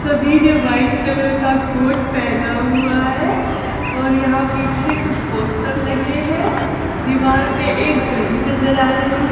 सभी ने white colour का कोट पहना हुआ है और यहां पीछे कुछ पोस्टर लगे हैं दीवार पर एक घड़ी नजर आ रही--